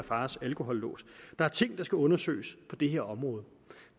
fars alkolås der er ting der skal undersøges på det her område